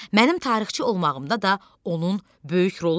Mənim tarixçi olmağımda da onun böyük rolu olub.